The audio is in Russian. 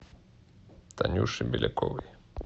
танюше беляковой